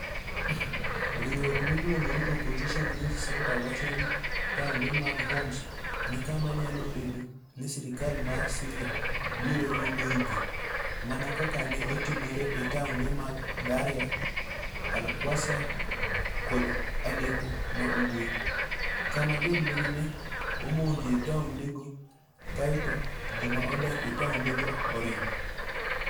Riwruok miluongo ni Opposition News Center wacho ni taonde mag Homs ni kama nyalo bedo ni sirkal mar Syria biro riemboe ji, mana kaka ne otimore e taonde mag Daraya, Al-Qusayr, kod Aleppo ma Ugwe, kama jolweny ne omonjoe taondego kae to joma odak e taondgo oringo.